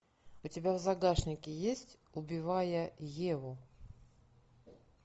у тебя в загашнике есть убивая еву